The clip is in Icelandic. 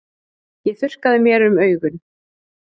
Ég þurrkaði mér um augun.